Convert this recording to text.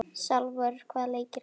Salvör, hvaða leikir eru í kvöld?